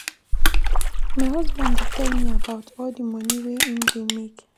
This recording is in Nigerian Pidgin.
My husband dey tell me about all di moni wey im dey make.